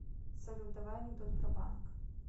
салют давай анекдот про банк